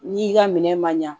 N'i ka minɛ ma ɲa